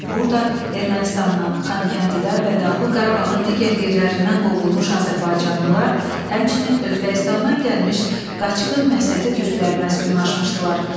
Burada Ermənistandan, Xankəndidən və Dağlıq Qarabağın digər yerlərindən qovulmuş azərbaycanlılar, həmçinin Özbəkistandan gəlmiş qaçqın Məsəti türkləri məskunlaşmışdılar.